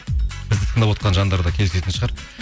бізді тыңдап отырған жандар да келісетін шығар